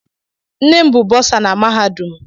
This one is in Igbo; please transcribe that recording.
Nne m bụ bọsa na mahadum.